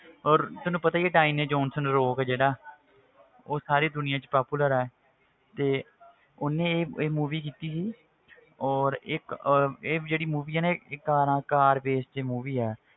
ਔਰ ਤੈਨੂੰ ਪਤਾ ਹੀ ਹੈ ਡਾਇਨੇ ਜੋਹਨਸਨ ਰੋਕ ਜਿਹੜਾ ਉਹ ਸਾਰੀ ਦੁਨੀਆਂ ਵਿੱਚ popular ਹੈ ਤੇ ਉਹਨੇ ਇਹ ਇਹ movie ਕੀਤੀ ਸੀ ਔਰ ਇੱਕ ਅਹ ਇਹ ਜਿਹੜੀ movie ਆ ਨਾ ਇਹ ਇਹ ਕਾਰਾਂ ਕਾਰ base ਤੇ movie ਹੈ